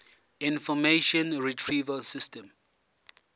information retrieval system